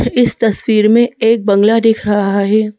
इस तस्वीर में एक बंगला दिख रहा है।